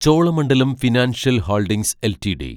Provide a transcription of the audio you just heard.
Cholamandalam financial holdings LTD